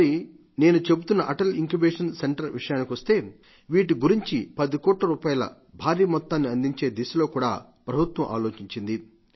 మరి నేను చెబుతున్న అటల్ ఇంక్యుబేషన్ సెంటర్ విషయానికొస్తే వీటి గురించి పదికోట్ల రూపాయ భారీ మొత్తాన్ని అందించే దిశలో కూడా ప్రభుత్వం ఆలోచించింది